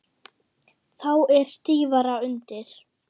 Þá er stífara undir.